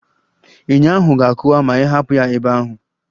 Enyo ahụ ga-akụwa ma ịhapụ ya ebe ahụ